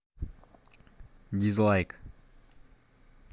дизлайк